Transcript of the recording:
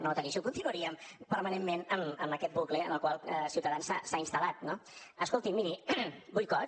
no la talli i continuaríem permanentment amb aquest bucle en el qual ciutadans s’ha instal·lat no escolti miri boicot